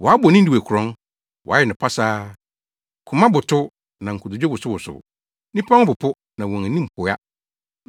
Wɔabɔ Ninewe korɔn, wɔayɛ no pasaa! Koma botow, na nkotodwe wosowosow, nnipa ho popo na wɔn anim hoa.